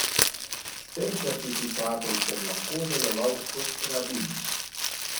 S tem certifikatom sem lahko deloval kot rabin.